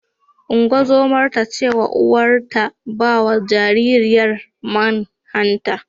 Ungozomar ta ce wa uwar ta ba wa jaririyar man hanta.